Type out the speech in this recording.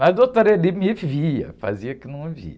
Mas, ele me via, fazia que não via.